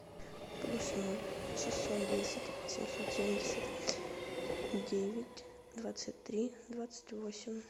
плюс ноль шестьсот десять семьсот семьдесят девять двадцать три двадцать восемь